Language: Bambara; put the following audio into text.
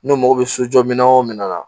N'o mako bɛ so jɔ minɛ o minɛ na